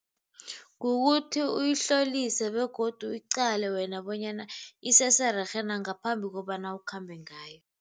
Kukuthi uyihlolise begodu uyiqale wena bonyana isesererhe na ngaphambi kobana ukhambe ngayo.